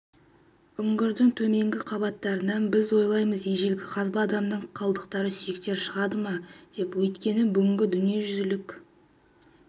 үңгірдің төменгі қабаттарынан біз ойлаймыз ежелгі қазба адамның қалдықтары сүйектері шығады ма деп өйткені бүгінгі дүниежүзілік